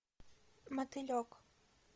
мотылек